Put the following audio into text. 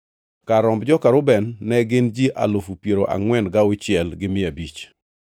Kar romb joka Reuben ne gin ji alufu piero angʼwen gauchiel gi mia abich (46,500).